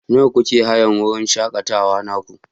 Nawa kuke hayan wurin shakatawa naku?